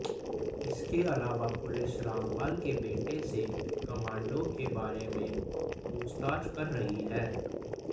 इसके अलावा पुलिस रामपाल के बेटे से कमांडो के बारे में पूछताछ कर रही है